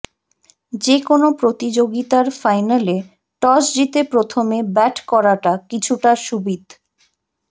যেকোনও প্রতিযোগিতার ফাইনালে টস জিতে প্রথমে ব্যাট করাটা কিছুটা সুবিধ